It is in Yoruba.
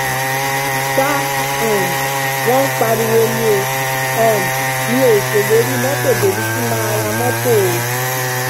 ṣá um wọn ń parọ ni o um mì ó ṣèlérí mọtò débi tí mà á ra mọtò o